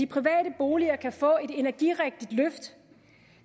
private boliger kan få et energirigtigt løft